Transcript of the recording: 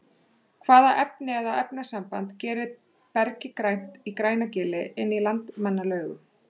hvaða efni eða efnasamband gerir bergið grænt í grænagili inn í landmannalaugum